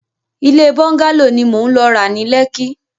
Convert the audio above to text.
Ilé bọ́ńgálò ni mò ń lọ ra ni Lekki.